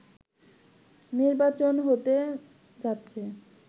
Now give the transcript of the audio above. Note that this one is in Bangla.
নির্বাচন হতে যাচ্ছে